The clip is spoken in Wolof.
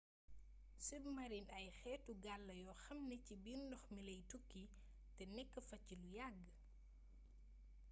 submarines ay xéétu gaal la yoo xam ni ci biir ndox mi lay tukki té nékk fa ci lu yagg